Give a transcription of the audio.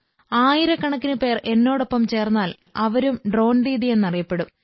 ആയിരക്കണക്കിന് പേർ എന്നോടൊപ്പം ചേർന്നാൽ അവരും ഡ്രോൺ ദീദി എന്നറിയപ്പെടും